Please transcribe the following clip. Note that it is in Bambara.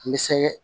N bɛ se